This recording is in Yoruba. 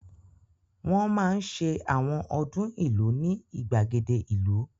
Wọ́n máa ń ṣe àwọn ọdún ìlú ní ìgbàgede ìlú